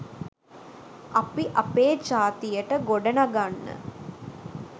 අපි අපේ ජාතියට ගොඩනගන්න